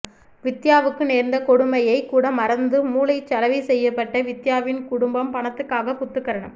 வித்தியாவுக்கு நேர்ந்த கொடுமையைக்கூட மறந்து மூளைச்சலவை செய்யப்பட்டவித்தியாவின் குடும்பம் பணத்துக்காக குத்துக்கரணம்